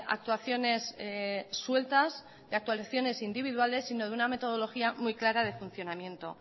actuaciones sueltas de actuaciones individuales sino de una metodología muy clara de funcionamiento